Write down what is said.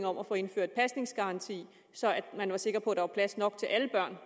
om at få indført pasningsgaranti så man var sikker på at der var plads nok til alle børn